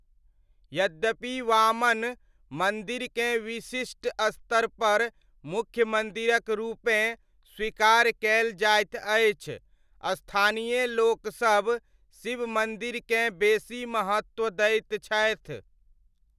यद्यपि वामन मन्दिरकेँ विशिष्ट स्तरपर मुख्य मन्दिरक रूपेँ स्वीकार कयल जाइत अछि, स्थानीय लोकसब शिव मन्दिरकेँ बेसी महत्व दैत छथि।